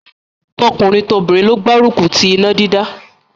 Tọkùnrin tobìnrin ló gbárùkù ti iná dídá.